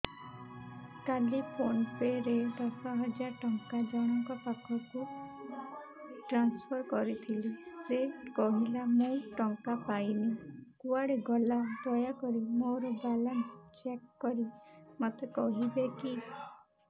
କାଲି PhonePe ରେ ଦଶ ହଜାର ଟଙ୍କା ଜଣକ ପାଖକୁ ଟ୍ରାନ୍ସଫର୍ କରିଥିଲି ସେ କହିଲା ମୁଁ ଟଙ୍କା ପାଇନି କୁଆଡେ ଗଲା ଦୟାକରି ମୋର ବାଲାନ୍ସ ଚେକ୍ କରି ମୋତେ କହିବେ କି